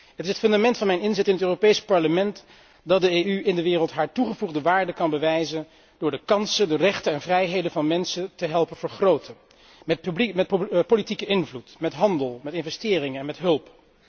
Het is het fundament van mijn inzet in het Europees Parlement dat de EU in de wereld haar toegevoegde waarde kan bewijzen door de kansen, de rechten en vrijheden van mensen te helpen vergroten met politieke invloed, met handel, met investeringen en met hulp.